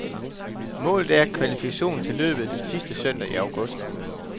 Målet er kvalifikation til løbet den sidste søndag i august.